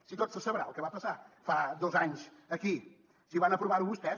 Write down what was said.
si tot se sabrà el que va passar fa dos anys aquí si van aprovar ho vostès